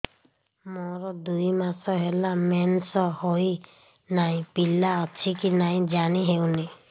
ମୋର ଦୁଇ ମାସ ହେଲା ମେନ୍ସେସ ହୋଇ ନାହିଁ ପିଲା ଅଛି କି ନାହିଁ ଜାଣି ହେଉନି